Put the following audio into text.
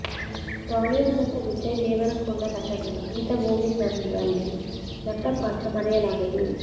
Tollywood ನಟ ವಿಜಯ್ ದೇವರಕೊಂಡ ನಟನೆಯ ಗೀತ ಗೋವಿಂದನಂದಲ್ಲಿ ನಟ ಪಾತ್ರ ಮರೆಯಲಾಗದು